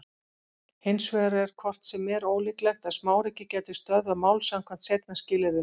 Hins vegar er hvort sem er ólíklegt að smáríki gætu stöðvað mál samkvæmt seinna skilyrðinu.